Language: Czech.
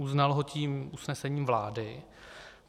Uznal ho tím usnesením vlády.